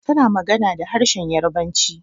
Tana magana da harshenn Yarabanci.